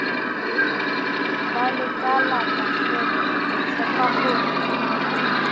ba lekalala fet re tshepahore